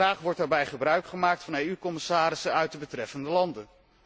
Graag wordt daarbij gebruik gemaakt van EU commissarissen uit de betreffende landen.